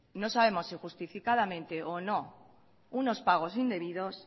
no sabemos si justificadamente o no unos pagos indebidos